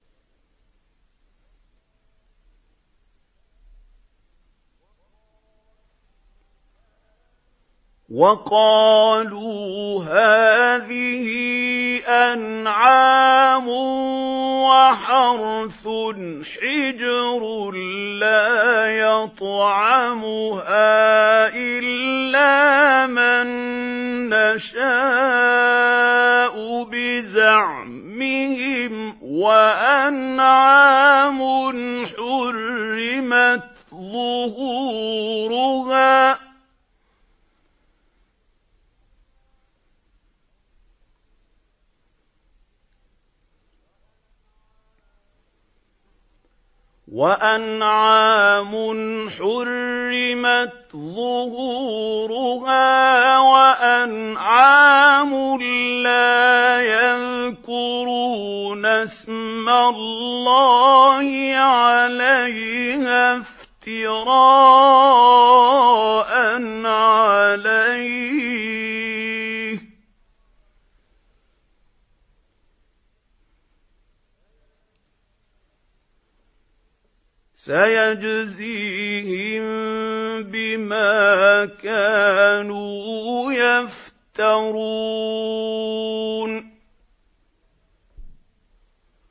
وَقَالُوا هَٰذِهِ أَنْعَامٌ وَحَرْثٌ حِجْرٌ لَّا يَطْعَمُهَا إِلَّا مَن نَّشَاءُ بِزَعْمِهِمْ وَأَنْعَامٌ حُرِّمَتْ ظُهُورُهَا وَأَنْعَامٌ لَّا يَذْكُرُونَ اسْمَ اللَّهِ عَلَيْهَا افْتِرَاءً عَلَيْهِ ۚ سَيَجْزِيهِم بِمَا كَانُوا يَفْتَرُونَ